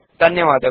ಧನ್ಯವಾದಗಳು